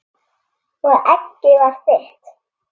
Og eggið var þitt!